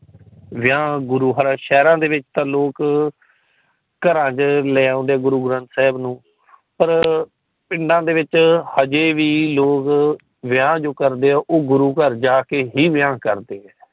ਵਿਆਹ ਗੁਰੂ ਹਰ ਸ਼ਹਿਰਾ ਵਿੱਚ ਤਾ ਲੋਕ ਘਰਾਂ ਚ ਲੈ ਆਂਦੇ ਗੁਰੂ ਗ੍ਰੰਥ ਸਾਹਿਬ ਜੀ ਨੂੰ ਪਰ ਪਿੰਡਾਂ ਦੇ ਵਿਚ ਹਜੇ ਵੀ ਲੋਕ ਵਿਆਹ ਜੋ ਕਰਦੇ ਆ ਉਹ ਗੁਰੂ ਘਰ ਜਾਕੇ ਹੀ ਵਿਆਹ ਕਰਦੇ ਹੈ।